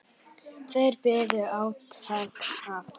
Þeir biðu átekta.